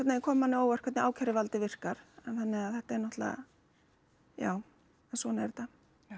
veginn kom manni á óvart hvernig ákæruvaldið virkar þannig að þetta er náttúrulega já svona er þetta